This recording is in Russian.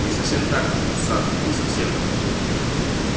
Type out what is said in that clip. не совсем так сатт не совсем